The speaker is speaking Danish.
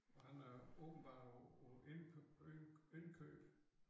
Og han er åbenbart på på indkøb